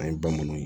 An ye bamananw ye